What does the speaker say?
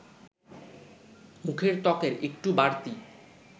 মুখের ত্বকের একটু বাড়তি